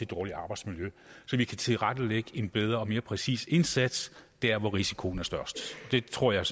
dårligt arbejdsmiljø så vi kan tilrettelægge en bedre og mere præcis indsats der hvor risikoen er størst det tror jeg